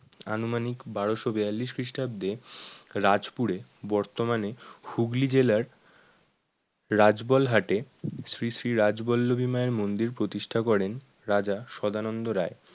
আনুমানিক বারোশো বিয়াল্লিশ খ্রীস্টাব্দে রাজপুরে বর্তমানে হুগলি জেলার রাজবলহাটে শ্রীশ্রী রাজ বল্লভী মায়ের মন্দির প্রতিষ্ঠা করেন রাজা সদানন্দ রায়